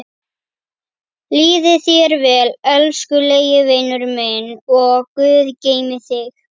Líði þér vel, elskulegi vinurinn minn og guð geymi þig.